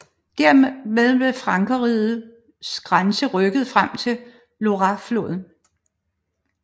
Dermed blev frankerrigets grænse rykket frem til Loirefloden